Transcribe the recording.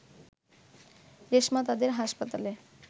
রেশমা তাদের হাসপাতালে